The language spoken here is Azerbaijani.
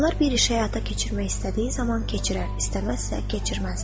Onlar bir iş həyata keçirmək istədiyi zaman keçirər, istəməzsə keçirməz.